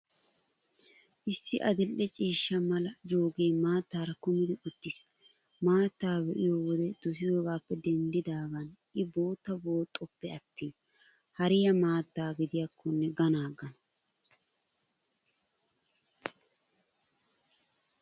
Issi adil''e ciishsha mala joggee maattaara kumidi uttiis. Maattaa be'iyo wode dosiyoogaappe denddidaagan I bootta booxxoppe attin hariyaa maattaa gidiyaakkonne ganaaggana.